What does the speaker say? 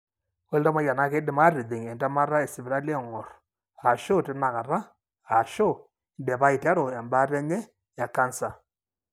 ore iltamoyia na kindim atijing entemata esipitali engorr, ashu tinakata, ashu indipa aiteru embaata enye ecanser.